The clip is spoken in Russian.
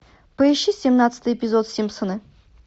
поищи семнадцатый эпизод симпсоны